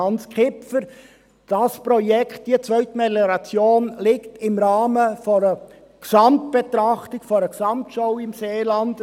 Dieses Projekt, diese Zweitmelioration, liegt im Rahmen einer Gesamtbetrachtung, einer Gesamtschau im Seeland.